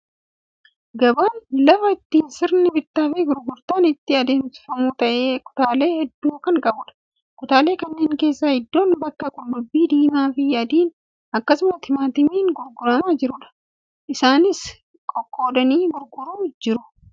Gabaan lafa itti sirni bittaa fi gurgurtaan itti adeemsamu ta'ee, kutaalee hedduu kan qabudha. Kutaalee kanneen keessaa idoon bakka qullubbii diimaa fi adiin akkasumas timaatimiin gurguramaa jirudha. Isaanis qoqqoodanii gurguraa jiru.